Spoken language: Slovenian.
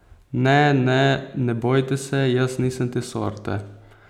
Ne, ne, ne bojte se, jaz nisem te sorte!